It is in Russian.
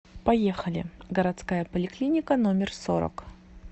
поехали городская поликлиника номер сорок